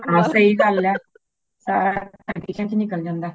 ਹੈ ਸਾਈ ਗੱਲ ਹੇ। ਸਾਰਾ ਦਿਨ kitchen ਵਿਚ ਨਿਕਲ ਜਾਂਦਾ ਹੇ